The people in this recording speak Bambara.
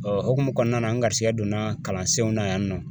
Ɔ hukumu kɔnɔna na, n garisigɛ donna kalansenw na yan nɔ.